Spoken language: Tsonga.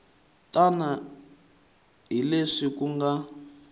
tani hi leswi ku nga